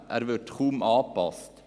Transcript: Er wird kaum angepasst.